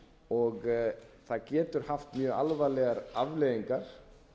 og það getur haft mjög alvarlegar afleiðingar